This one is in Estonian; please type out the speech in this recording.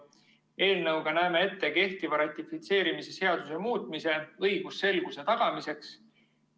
Eelnõuga näeme ette kehtiva ratifitseerimise seaduse muutmise õigusselguse tagamiseks.